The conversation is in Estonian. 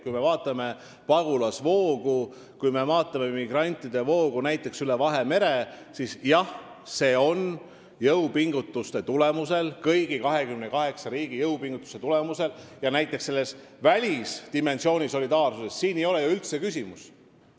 Kui me vaatame pagulasvoogu, näiteks migrantide voogu üle Vahemere, siis see on kõigi 28 riigi jõupingutuste ja välisdimensiooni solidaarsuse tulemusel tõesti vähenenud.